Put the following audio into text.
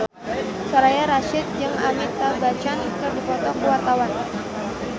Soraya Rasyid jeung Amitabh Bachchan keur dipoto ku wartawan